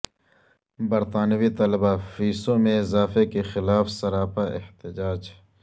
برطانوی طلبہ فیسوں میں اضافے کے خلاف سراپا احتجاج